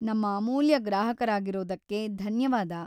ನಮ್ಮ ಅಮೂಲ್ಯ ಗ್ರಾಹಕರಾಗಿರೋದಕ್ಕೆ ಧನ್ಯವಾದ.